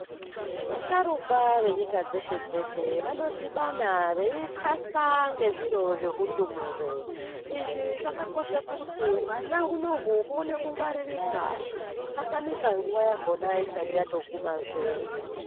Va sharukwa ve nyika dzeshe dzeshe vano dhibana vei kasa nge zviro zve hundumure izvi zvakakosha kuti hwana hunohu huone ku ngwaririka husa tamika nguva yahona isati yato guma zve.